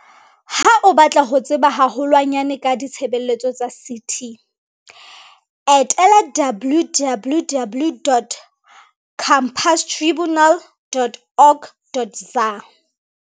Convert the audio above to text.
Ha o batla ho tseba haho lwanyane ka ditshebeletso tsa CT, etela www.companiestribu nal.org.za.